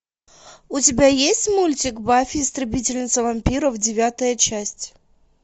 у тебя есть мультик баффи истребительница вампиров девятая часть